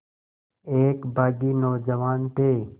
एक बाग़ी नौजवान थे